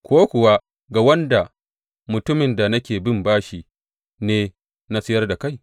Ko kuwa ga wanda mutumin da nake bin bashi ne na sayar da kai?